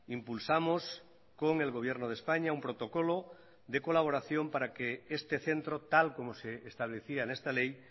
impulsamos con el gobierno de españa un protocolo de colaboración para que este centro tal como se establecía en esta ley